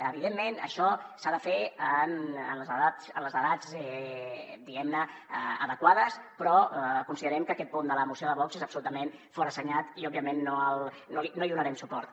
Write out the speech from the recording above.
evidentment això s’ha de fer en les edats diguem ne adequades però considerem que aquest punt de la moció de vox és absolutament forassenyat i òbviament no hi donarem suport